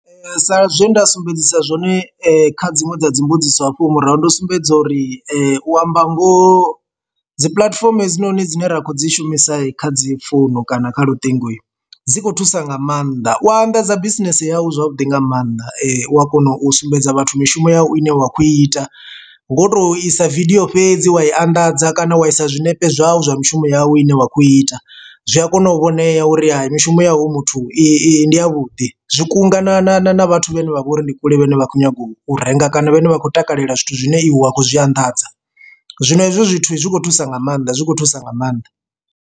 Sa zwe nda sumbedzisa zwone kha dziṅwe dza dzi mbudziso hafho murahu ndo sumbedza uri u amba ngoho dzi puḽatifomo hedzinoni dzine ra khou dzi shumisa kha dzi founu kana kha luṱingo, dzi kho thusa nga maanḓa u anḓadza bisinese yau zwavhuḓi nga maanḓa. U a kona u sumbedza vhathu mishumo yau ine wa kho ita ngo to isa vidio fhedzi wa i anḓadza kana wa isa zwinepe zwau zwa mishumo yau ine wa khou ita. Zwi a kona u vhonea uri hayi mishumo yau muthu i ndi ya vhuḓi zwi kunga na na na vhathu vhane vha vha uri ndi kule vhane vha khou nyaga u renga kana vhane vha khou takalela zwithu zwine iwe wa khou zwi anḓadza, zwino hezwo zwithu zwi kho thusa nga maanḓa zwi khou thusa nga maanḓa.